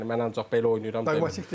Yəni mən ancaq belə oynayıram, belə.